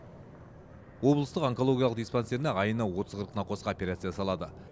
облыстық онкологиялық диспансерінде айына отыз қырық науқасқа операция жасалады